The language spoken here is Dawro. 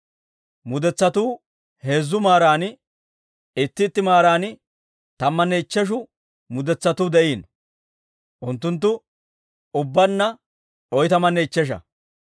mudetsatuu heezzu maaran, itti itti maaran tammanne ichcheshu mudetsatuu de'iino; unttunttu ubbaanna oytamanne ichchesha.